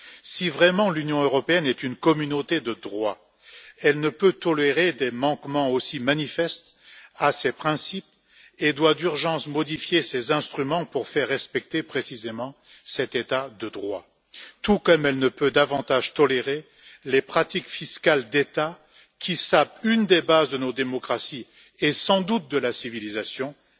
Si vraiment l'Union européenne est une communauté de droit, elle ne peut tolérer des manquements aussi manifestes à ses principes et doit d'urgence modifier ses instruments pour faire respecter précisément cet état de droit, tout comme elle ne peut davantage tolérer les pratiques fiscales d'États qui sapent une des bases de nos démocraties, et sans doute de la civilisation, l'égalité devant l'impôt.